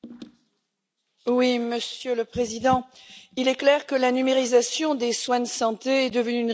Monsieur le Président, il est clair que la numérisation des soins de santé est devenue une réalité inévitable.